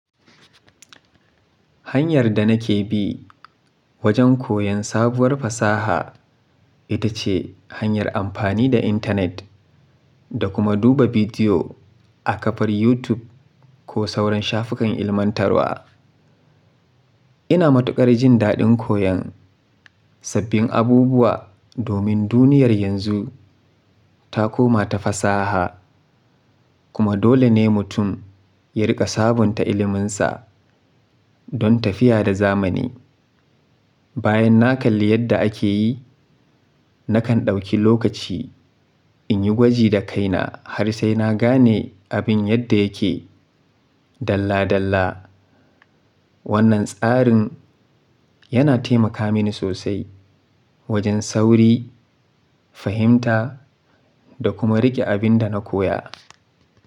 Hanyar da nake bi wajen koyon sabuwar fasaha ita ce hanyar amfani da intanet da kuma duba bidiyo a kafar YouTube ko sauran shafukan ilmantarwa. Ina matukar jin daɗin koyon sabbin abubuwa domin duniyar yanzu ta koma ta fasaha kuma dole ne mutum ya riƙa sabunta ilminsa don tafiya da zamani. Bayan na kalli yadda ake yi, nakan ɗauki lokaci in yi gwaji da kaina har sai na gane abin yadda yake dalla dalla. Wannan tsarin yana taimaka mini sosai wajen sauri, fahimta da kuma riƙe abin da na koya.